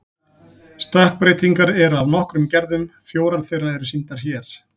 Stökkbreytingar eru af nokkrum gerðum, fjórar þeirra eru sýndar hér.